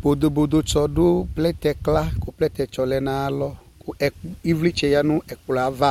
Bodo bodo tsɔ du plɛtɛ kla ku plɛtɛ tsɔ lɛ nu ayalɔ Ku ivlitsɛ uz nu ɛkplɔ ava